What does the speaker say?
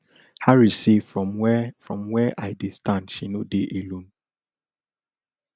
harris say from wia from wia i dey stand she no dey alone